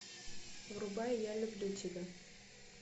врубай я люблю тебя